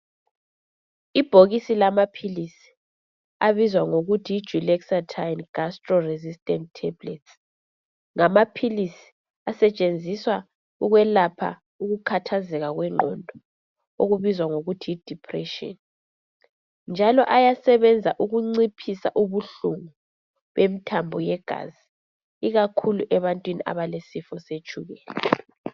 Ibhokisi lamaphilisi abizwa ngokuthi yi dulexatine gastro resistant tablets ngamaphilisi asetshenziswa ukwelapha ukukhathazeka kwengqondo okubizwa ngokuthi yi dèpression njalo ayasebenza ukunciphisa ubuhlungu bemthambo ye yegazi ikakhulu ebantwini abalesifo setshukela.